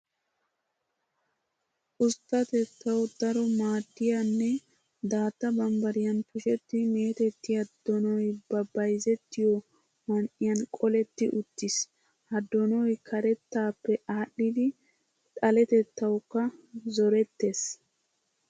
Usttatettawu daro maaddiya nne daatta bambbariyan tushetti meetettiya donoy ba bayzettiyo man"iyan qoletti uttiis. Ha doonoy karttaappe aadhdhidi xaletettawukka zorettes.